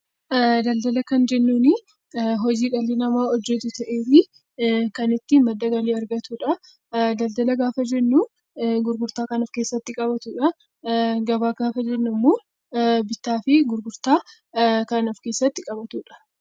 Daldala kan jennuuni hojii dhalli namaa hojjetu ta'eetii kan ittiin madda galii argatudha. Daldala gaafa jennu gurgurtaa kan of keessatti qabatudha. Gabaa gaafa jennu ammoo bittaa fi gurgurtaa kan of keessatti qabatudha.